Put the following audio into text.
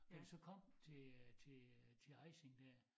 Da vi så kom til øh til øh til Ejsing dér